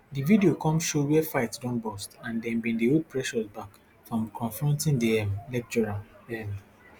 di video come show wia fight don burst and dem bin dey hold precious back from confronting di um lecturer um